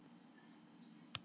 Flughálka á Austurlandi